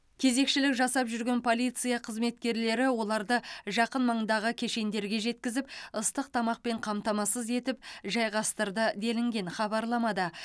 кезекшілік жасап жүрген полиция қызметкерлері оларды жақын маңдағы кешендерге жеткізіп ыстық тамақпен қамтамасыз етіп жайғастырды делінген хабарламада